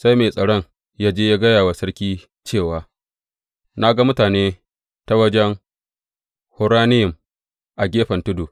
Sai mai tsaron ya je ya gaya wa sarki cewa, Na ga mutane ta wajen Horonayim, a gefen tudu.